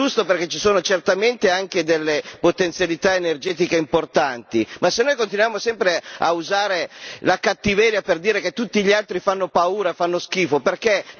E' giusto, perché ci sono certamente anche delle potenzialità energetiche importanti, ma se noi continuiamo sempre ad usare la cattiveria per dire che tutti gli altri fanno paura, fanno schifo, perché?